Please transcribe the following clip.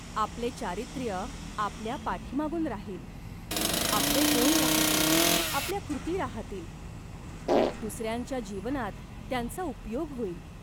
आपले चारित्र्य आपल्या पाठीमागून राहील. आपले गुण राहातील, आपल्या कृती राहातील, दुसऱ्यांच्या जीवनात त्यांचा उपयोग होईल.